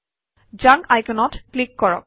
junk আইকনত click কৰক